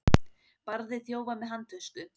Barði þjófa með handtösku